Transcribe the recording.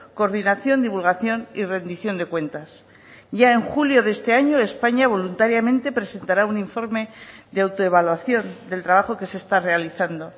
coordinación divulgación y rendición de cuentas ya en julio de este año españa voluntariamente presentará un informe de autoevaluación del trabajo que se está realizando